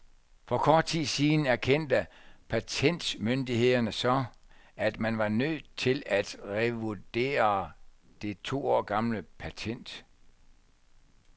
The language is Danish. For kort tid siden erkendte patentmyndighederne så, at man var nødt til at revurdere det to år gamle patent.